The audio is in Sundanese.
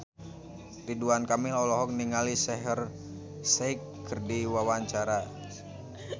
Ridwan Kamil olohok ningali Shaheer Sheikh keur diwawancara